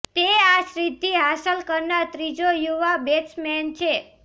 તે આ સિદ્ધિ હાંસલ કરનાર ત્રીજો યુવા બેટ્સમેન છે